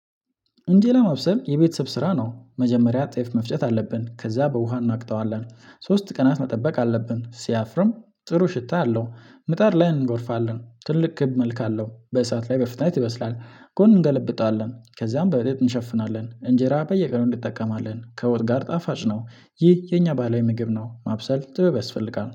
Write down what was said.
እንጄ ለማብሰል የቤተሰብ ስራ ነው። መጀመሪያ ጤፍ መፍጨት አለብን። ከዛ በውሃ እናቅተዋለን። ሶስት ቀናት መጠበቅ አለብን ሲያፍርም ጥሩ ሽታ አለው። ምጣድ ላይ እንጎርፋለን። ትልቅ ክብ እመልከለሁ። በእሳት ላይ በፍጥነት ይበስላል። ጎን እንገለብጣለን። ከዛም በብጥ እንሸፍናለን። እንጀራ በየቀኑ እንጠቀማለን። ከወጥ ጋር ጣፋጭ ነው። ይህ የኛ ባህላዊ ምግብ ነው። ማብሰል ጥበብ ያስፈልጋል።